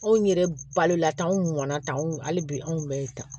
Anw yɛrɛ balola tan anw mɔnna tan anw hali bi anw kun bɛ tan